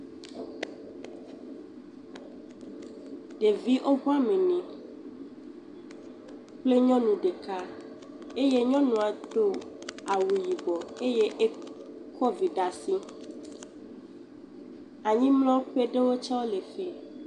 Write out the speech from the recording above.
Ɖevi woƒe ame ne kple nyɔnu ɖeka eye nyɔnua do awu yibɔ eye e kɔ vi ɖe asi. Anyimlɔƒe ɖewo tse ɖewo le fi.